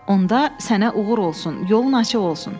Onda sənə uğur olsun, yolun açıq olsun.